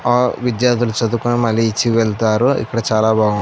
ఆ విద్యార్థి చదువుకుని మనీ ఇచ్చి వెళ్ళతారు. ఇక్కడ చాలా బాగుం --